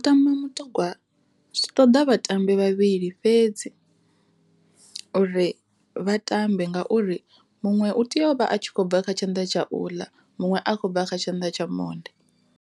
Mutambo mutogwa zwi ṱoḓa vhatambi vhavhili fhedzi uri vha tambe ngauri muṅwe u tea u vha a kho bva kha tshanḓa tsha u ḽa, muṅwe a khou bva kha tshanḓa tsha monde.